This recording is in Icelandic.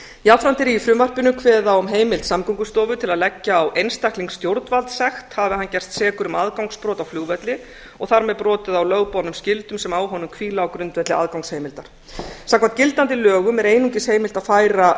jafnframt er í frumvarpinu kveðið á um heimild samgöngustofu til að leggja á einstakling stjórnvaldssekt hafi hann gerst sekur um aðgangsbrot á flugvelli og þar með brotið á lögboðnum skyldum sem á honum hvíla á grundvelli aðgangsheimildar samkvæmt gildandi lögum er einungis heimilt að færa